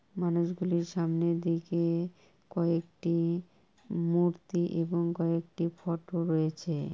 মানুষ গুলির সামনের দিকে কয়েকটি মুর্তি এবং কয়েকটি ফটো রয়েছে।